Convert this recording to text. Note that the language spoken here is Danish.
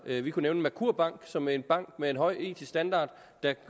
vi kunne nævne merkur bank som en bank med en høj etisk standard der